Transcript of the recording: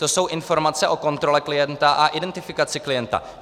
To jsou informace o kontrole klienta a identifikaci klienta.